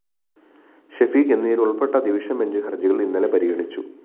ഷഫീഖ് എന്നിവരുള്‍പ്പെട്ട division bench ഹര്‍ജികള്‍ ഇന്നലെ പരിഗണിച്ചു